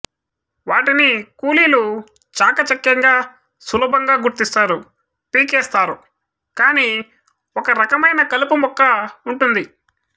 వాటిని కూలీలు చాకచఖ్యంగా సులబంగా గుర్తిస్తారు పీకేస్తారు కాని ఒక రకమైన కలుపు మొక్క వుంటుంది